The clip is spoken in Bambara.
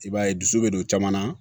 I b'a ye dusu bɛ don caman na